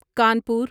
Kanpur